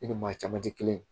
I ni maa caman ti kelen ye